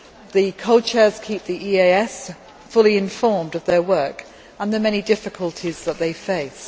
The co chairs keep the EEAS fully informed of their work and the many difficulties that they face.